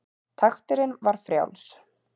Takturinn var frjáls.